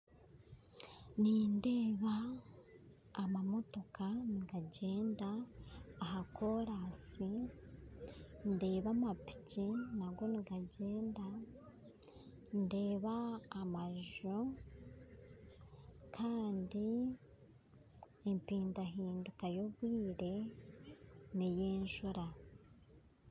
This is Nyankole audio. Nindeeba amamotoka nigagyenda aha korasi ndeeba amapiki nago nigagyenda, ndeeba amaju Kandi empidahinduka y'obwire n'enjura.